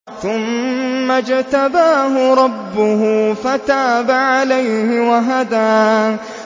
ثُمَّ اجْتَبَاهُ رَبُّهُ فَتَابَ عَلَيْهِ وَهَدَىٰ